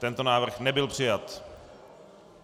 Tento návrh nebyl přijat.